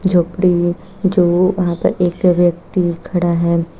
झोपड़ी है जो वहां पर एक व्यक्ति खड़ा है।